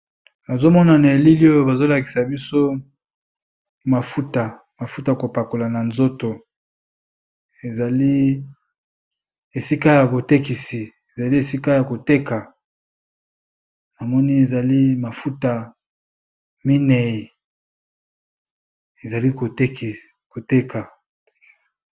Nazomona na elili Oyo bazolakisa biso bamilangi ya mavuta yakopakola